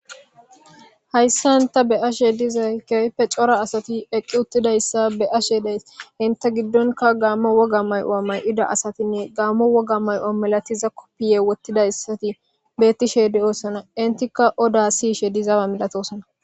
Hayssan tha be7ashee dizay keehippe asathi eqqi7uththizayssa be7ashee de7ays; henththe giddonkka gaammuwa wogaa maayuwa maayida gaammuwa wogaa maayuwa malathiza koppiyiyaa woththidayssathi beeththishe de7oosona; enththikka odaa siyishee dizaa milatoosona.